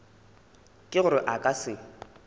ke gore a ka se